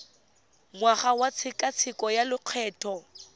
ngwaga wa tshekatsheko ya lokgetho